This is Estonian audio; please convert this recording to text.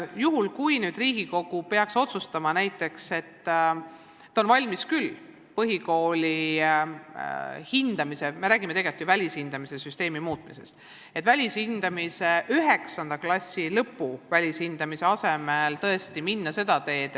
Juhul, kui Riigikogu peaks näiteks otsustama, et on valmis põhikooli hindamist muutma – me räägime tegelikult ju välishindamise süsteemi muutmisest –, siis saame 9. klassi lõpus tehtaval välishindamisel tõesti minna seda uut teed.